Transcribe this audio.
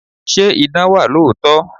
Ṣé idán wà lóòótọ́?